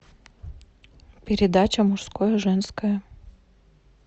передача мужское женское